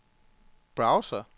browser